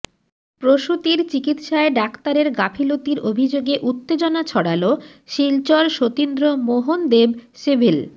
প্রসূতির চিকিৎসায় ডাক্তারের গাফিলতির অভিযোগে উত্তেজনা ছড়াল শিলচর সতীন্দ্র মোহন দেব সিভিল